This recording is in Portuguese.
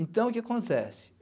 Então, o que acontece?